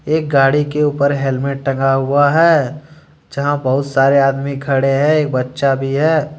एक गाड़ी के ऊपर हेलमेट टंगा हुआ है जहाँ बहुत सारे आदमी खड़े है एक बच्चा भी है।